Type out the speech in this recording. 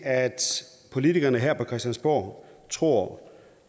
politikerne her på christiansborg tror